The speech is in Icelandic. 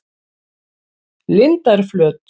Lindarflöt